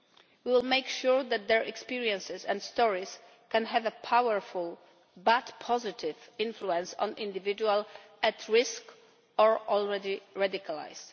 We will make sure that their experiences and stories can have a powerful but positive influence on individuals at risk or already radicalised.